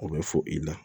O bɛ fɔ i la